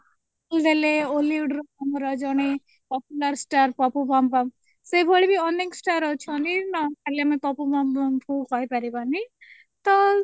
କି ଗଲେ ଆମର hollywood ରୁ ଆମର ଜଣେ popular star ପପୁ ପମପମ ସେ ଭଳି ଅନେକ star ଅଛନ୍ତି ଖାଲି ଆମେ ପପୁ ପମ ପମ କୁ କହି ପାରିବାନି ତ